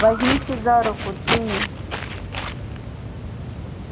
возьмите за руку джинни